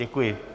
Děkuji.